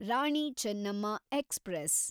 Rani Chennamma express